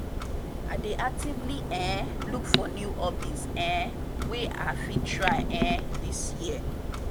i dey actively um look for new hobbies um wey i fit try um this year.